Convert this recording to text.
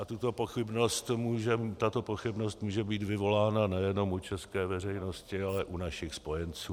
A tato pochybnost může být vyvolána nejenom u české veřejnosti, ale u našich spojenců.